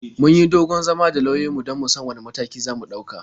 Mun yi dogon zama da lauyanmu don mu san wane matakan za mu ɗauka.